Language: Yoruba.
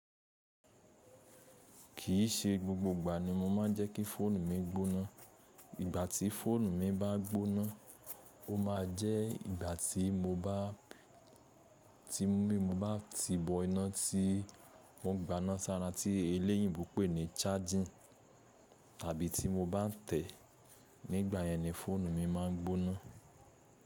Kì í se gbogbo ìgbà ni mo máa ń jẹ́ kí fóònù mi gbóná. Ìgbà tí fóònù mi bá gbóná, ó máa jẹ́ ìgbà tí mo bá ti bọ́ iná tí wọ́n gbà ná sára tí eléyìíbo pè ní charging àbí tí mo bá n tẹ̀. Nígbà yẹn ni fóònù mi má a gbóná.